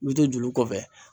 Me to to julu kɔfɛ